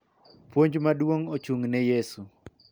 Puonj maduong� ochung�ne Yesu .